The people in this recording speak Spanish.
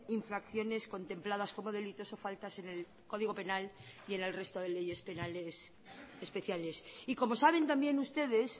infracciones contempladas como delitos o faltas en el código penal y en el resto de leyes penales especiales y como saben también ustedes